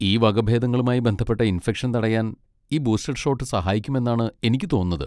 ഈ വകഭേദങ്ങളുമായി ബന്ധപ്പെട്ട ഇൻഫെക്ഷൻ തടയാൻ ഈ ബൂസ്റ്റർ ഷോട്ട് സഹായിക്കും എന്നാണ് എനിക്ക് തോന്നുന്നത്.